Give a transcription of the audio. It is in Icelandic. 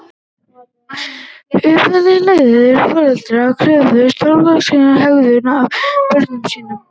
Uppeldishættir Leiðandi foreldrar kröfðust þroskaðrar hegðunar af börnum sínum.